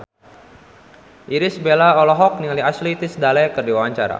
Irish Bella olohok ningali Ashley Tisdale keur diwawancara